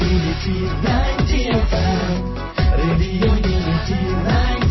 Sanskrit audio